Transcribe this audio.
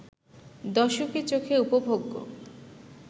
দর্শকের চোখে উপভোগ্য